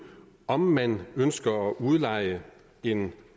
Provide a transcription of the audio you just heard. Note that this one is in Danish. om man ønsker at udleje en